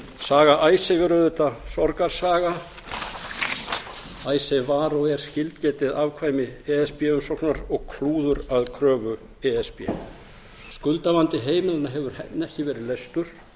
að halda saga icesave er auðvitað sorgarsaga icesave var og er skilgetið afkvæmi e s b umsóknar og klúður að kröfu e s b skuldavandi heimilanna hefur ekki verið leystur